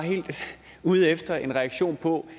ude efter en respons på